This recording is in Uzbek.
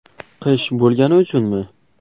Qish bo‘lgani uchunmi?